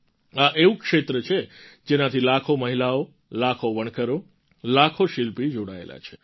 આ એવું ક્ષેત્ર છે જેનાથી લાખો મહિલાઓ લાખો વણકરો લાખો શિલ્પી જોડાયેલાં છે